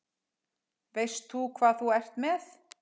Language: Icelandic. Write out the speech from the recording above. Veistu hvað þú ert með?